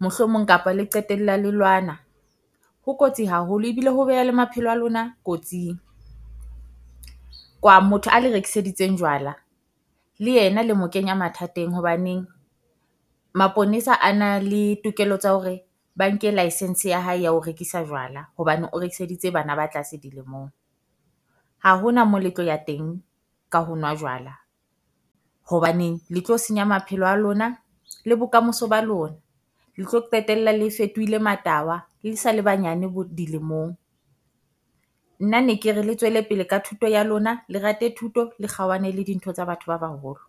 mohlomong kapa leqetella le lwana. Ho kotsi haholo ebile ho beha le maphelo a lona kotsing. Kwa motho a le rekiseditseng jwala, le yena le mo kenya mathateng hobaneng. Maponesa a na le tokelo tsa hore ba nke license ya hae ya ho rekisa jwala hobane o rekiseditse bana ba tlatse dilemong. Ha ho na mo le tlo ya teng ka ho nwa jwala. Hobaneng le tlo senya maphelo a lona. Le bokamoso ba lona le tlo qetella le fetohile matahwa le sa le banyane bo dilemong. Nna ne ke re le tswele pele ka thuto ya lona, le rate thuto, le kgaohane le dintho tsa batho ba baholo.